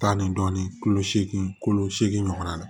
Tan ni dɔɔnin kolo seegin kolo seegin ɲɔgɔn na